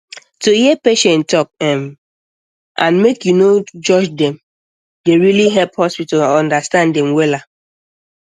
to hear patient talk um and make you no judge dem um dey really help hospital understand dem um wella